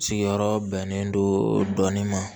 Sigiyɔrɔ bɛnnen do dɔɔnin ma